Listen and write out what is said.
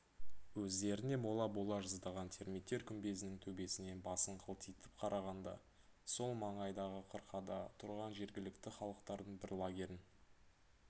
өздеріне мола бола жаздаған термиттер күмбезінің төбесінен басын қылтитып қарағанда сол маңайдағы қырқада тұрған жергілікті халықтардың бір лагерін